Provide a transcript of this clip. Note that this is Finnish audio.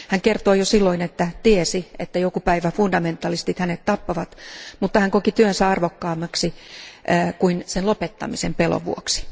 Hän kertoi jo silloin, että tiesi, että joku päivä fundamentalistit hänet tappavat, mutta hän koki työnsä arvokkaammaksi kuin sen lopettamisen pelon vuoksi.